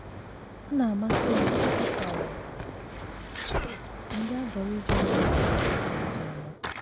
Ọ na - amasị m ikwusara ndị Aborigine nọ na Derby ozi ọma